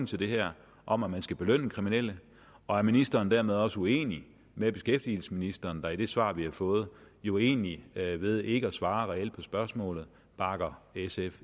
til det her om at man skal belønne kriminelle og er ministeren dermed også uenig med beskæftigelsesministeren der i det svar vi har fået jo egentlig ved ved ikke at svare reelt på spørgsmålet bakker sf